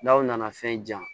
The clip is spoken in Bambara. N'aw nana fɛn ja